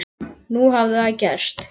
Nú hafði það gerst.